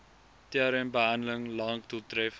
trmbehandeling lank doeltreffend